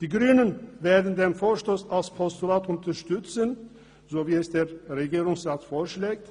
Die Grünen werden den Vorstoss als Postulat unterstützen, so wie es der Regierungsrat vorschlägt.